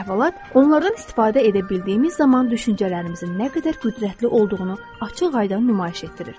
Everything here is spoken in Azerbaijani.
Bu əhvalat onlardan istifadə edə bildiyimiz zaman düşüncələrimizin nə qədər qüdrətli olduğunu açıq-aydın nümayiş etdirir.